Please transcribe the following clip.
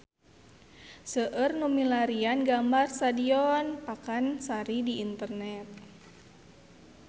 Seueur nu milarian gambar Stadion Pakansari di internet